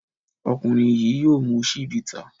Ọkùnrin yìí yóò mu Chivita.